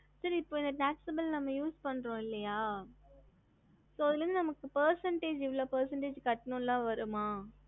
ஹம்